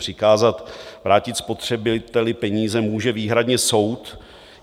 Přikázat vrátit spotřebiteli peníze může výhradně soud.